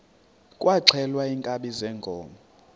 kwaxhelwa iinkabi zeenkomo